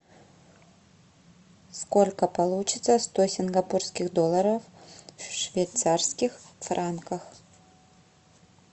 сколько получится сто сингапурских долларов в швейцарских франках